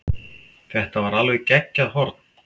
Þetta var alveg geggjað horn.